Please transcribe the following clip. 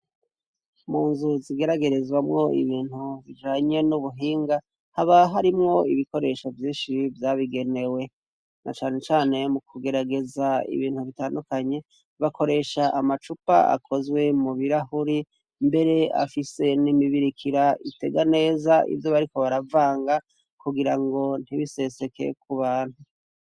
Mu nzu zigeragerezwamwo ibintu bijanye n'ubuhinga haba harimwo ibikoresho vyinshi vyabigenewe na canecane mu kugerageza ibintu bitandukanye bakoresha amacupa akozwe mu birahuri mbere afise n'imibirikira itega neza ivyo bariko baravange nga kugira ngo ntibisesekeye ku bantu.